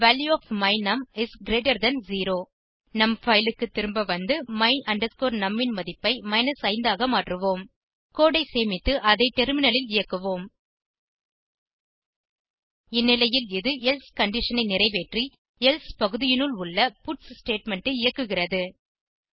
they value of my num is greater than 0 நம் fileக்கு திரும்ப வந்து my num ன் மதிப்பை 5 ஆக மாற்றுவோம் கோடு ஐ சேமித்து அதை டெர்மினலில் இயக்குவோம் இந்நிலையில் இது எல்சே கண்டிஷன் ஐ நிறைவேற்றி எல்சே பகுதியினுள் உள்ள பட்ஸ் ஸ்டேட்மெண்ட் ஐ இயக்குகிறது